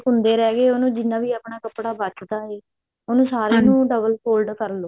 ਕੁੰਡੇ ਰਿਹ ਗੇ ਉਹਨੂੰ ਜਿੰਨਾ ਵੀ ਆਪਣਾ ਕੱਪੜਾ ਬਚਦਾ ਹੈ ਉਹਨੂੰ ਨੂੰ double fold ਕਰਲੋ